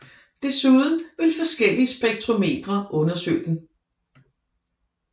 Desuden vil forskellige spektrometre undersøge den